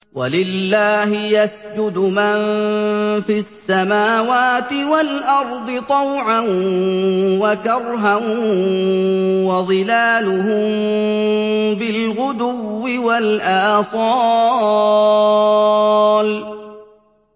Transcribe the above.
وَلِلَّهِ يَسْجُدُ مَن فِي السَّمَاوَاتِ وَالْأَرْضِ طَوْعًا وَكَرْهًا وَظِلَالُهُم بِالْغُدُوِّ وَالْآصَالِ ۩